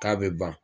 K'a bɛ ban